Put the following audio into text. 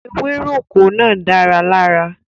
Ewéròkó náà dára lára.